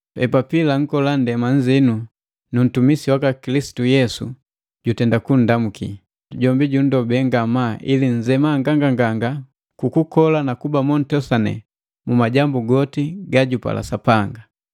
Epapila nkola nndema nnziinu nu ntumisi waka Kilisitu Yesu, jutenda kundamuki. Jombi jundobe ngamaa ili nnzema nganganganga kuku kola na kuba montosane mu majambu goti gajupala Sapanga.